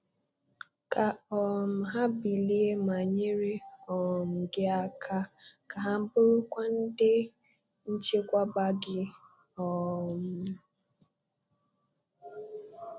Ka um ha bilie ma nyere um gị aka; ka ha burukwa ndị nchekwaba gị." um